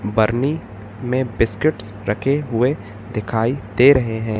बरनी में बिस्किट्स रखे हुए दिखाई दे रहे हैं।